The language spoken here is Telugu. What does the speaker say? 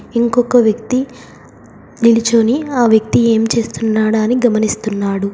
ఇంకొక వ్యక్తి నిలుచొని ఆ వ్యక్తి ఏం చేస్తున్నాడా అని గమనిస్తున్నాడు.